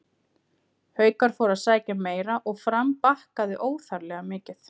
Haukar fóru að sækja meira og Fram bakkaði óþarflega mikið.